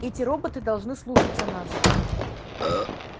эти роботы должны слушаться нас